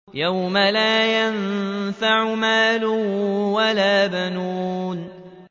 يَوْمَ لَا يَنفَعُ مَالٌ وَلَا بَنُونَ